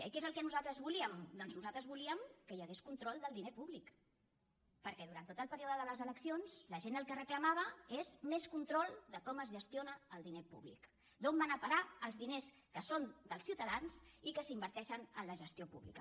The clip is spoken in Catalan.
i què és el que nosaltres volíem doncs nosaltres volíem que hi hagués control del diner públic perquè durant tot el període de les eleccions la gent el que reclamava és més control de com es gestiona el diner públic d’on van a parar els diners que són dels ciutadans i que s’inverteixen en la gestió pública